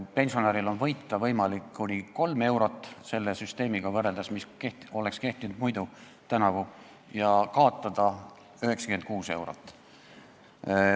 Pensionäril on võimalik võita kuni 3 eurot – selle süsteemiga võrreldes, mis oleks muidu tänavu kehtinud – ja kaotada 96 eurot.